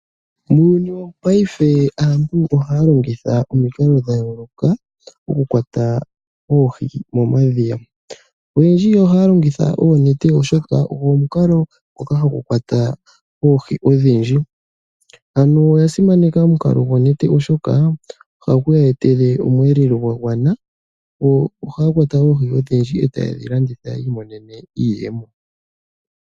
Uuyuni wopaife aantu ohaa longitha omikalo dha yooloka mokukwata oohi momadhiya. Oyendji ohaa longitha oonete oshoka ogo omukalo ngoka kwata oohi odhindji ano oyasimaneka omukalo gonete oshoka ohagu ya etele omweelelo gwagwana. Go ohaya kwata oohi oshindji eetaaye dhilanditha opo yiimonene iiyemo.